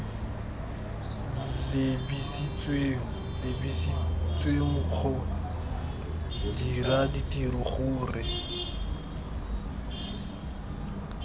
lebisitsweng lebisitswenggo dira ditiro gore